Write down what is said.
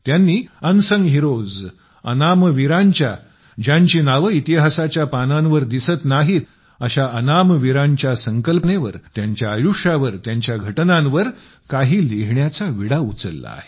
त्यांनी unsung heroes अनाम वीरांच्या ज्यांची नावे इतिहासाच्या पानांवर दिसत नाहीत अशा अनाम वीरांच्या संकल्पनेवर त्यांच्या आयुष्यावर त्या घटनांवर काही लिहिण्याचा विडा उचलला आहे